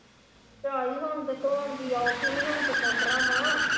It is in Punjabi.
ਝਾਈ ਹੁਣ ਤੇ ਧੋਣ ਦੀ ਔਖ ਹੀ ਨੀ ਹੁਣ ਤੇ ਮੋਟਰਾਂ ਵਾਂ